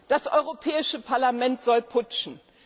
Das Europäische Parlament soll putschen.